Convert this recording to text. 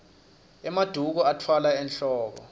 emaduku atfwalwa enwoko